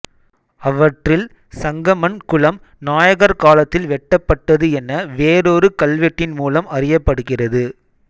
அவற்றில் சங்கமன் குளம் நாயக்கர் காலத்தில் வெட்டப்பட்டது என வேறொரு கல்வெட்டின்மூலம் அறியப்படுகிறது